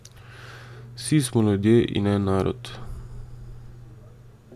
Vsi smo ljudje in en narod!